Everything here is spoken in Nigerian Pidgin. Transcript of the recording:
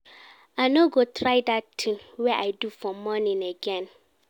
I no go try dat thing wey I do for morning again